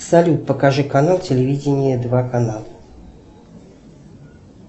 салют покажи канал телевидение два канал